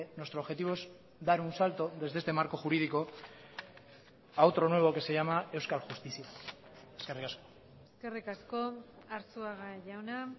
nuestro objetivo es dar un salto desde este marco jurídico a otro nuevo que se llama euskal justizia eskerrik asko eskerrik asko arzuaga jauna